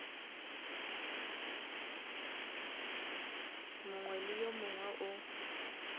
mongwe le yo mongwe o